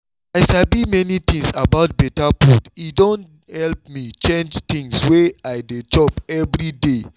as i sabi many things about better food e don help me change things wey i dey chop every day